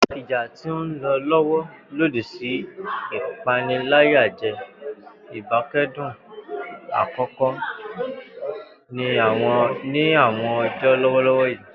Ija ti nlọ lọwọ lodi si ipanilaya jẹ ibakcdun akọkọ ni awọn ọjọ lọwọlọwọ yii.